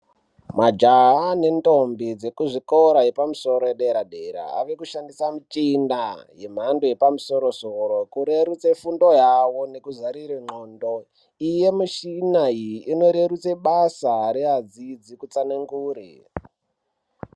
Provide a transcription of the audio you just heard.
Majaha nendombi vekuzvikora zvepamusoro zvedera-dera vavkushandisa michina yemhando yepamusoro soro kurerutsa fundo yawo nekuzarura ndlxondo iyi yemushina iyi inorerutsa basa revadzidzi kutsanangure.